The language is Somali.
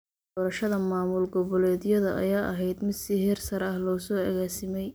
Doorashada maamul goboleedyada ayaa ahayd mid si heer sare ah loo soo agaasimay.